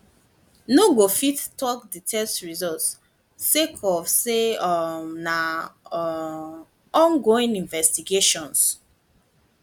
no go fit tok di test results sake of say um na um ongoing investigations